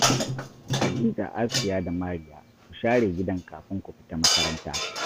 Kadija, Asiya da Mariya, ku share gidan kafin ku fita makaranta